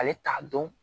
Ale t'a dɔn